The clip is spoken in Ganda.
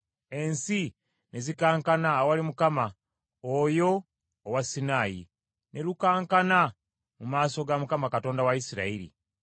Ensozi ne zikankana awali Mukama , Oyo owa Sinaayi, ne lukankana mu maaso Mukama Katonda w’Abayisirayiri.